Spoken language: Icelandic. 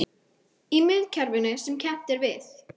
Í miðkerfinu sem kennt er við